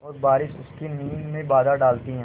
और बारिश उसकी नींद में बाधा डालती है